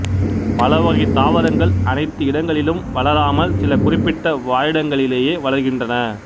பலவகைத் தாவரங்கள் அனைத்து இடங்களிலும் வளராமல் சில குறிப்பிட்ட வாழிடங்களிலேயே வளர்கின்றன